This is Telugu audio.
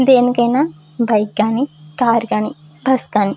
దేనికైనా బైక్ గాని కార్ కి గాని బస్సు గాని--